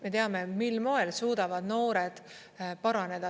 Me teame, mil moel suudavad noored paraneda.